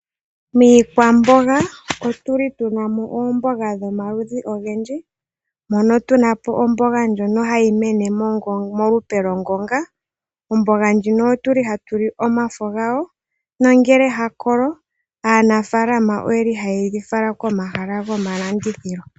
Miikwamboga otu na mo oomboga dhomaludhi ogendji. Otu na mo omboga ndjono hayi mene molupe lwongonga. Omboga ndjino ohatu li omafo gawo nongele ya kolo aanafaalama ohaye yi fala komahala gomalandithilo.